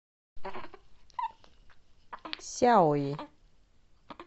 сяои